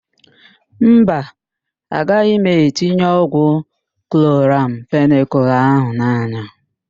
Mba, agaghị m etinye ọgwụ kloramfenịkal ahụ n'anya.